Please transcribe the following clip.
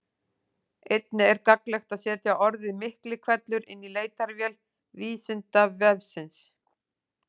Einnig er gagnlegt að setja orðið Miklihvellur inn í leitarvél Vísindavefsins.